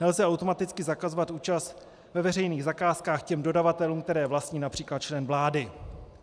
Nelze automaticky zakazovat účast ve veřejných zakázkách těm dodavatelům, které vlastní například člen vlády."